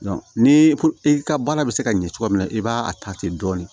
ni ko i ka baara bɛ se ka ɲɛ cogo min na i b'a a ta ten dɔɔnin